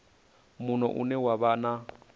muno une wa vha na